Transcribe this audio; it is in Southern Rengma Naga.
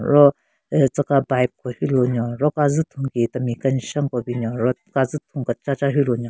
Ro aah tsü ka bipe ko hyu lunyo ro kazu thun ki temi keshen ko binyon ro kazu thun kechacha hyu lunyo.